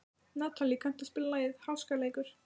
Natalí, kanntu að spila lagið „Háskaleikur“?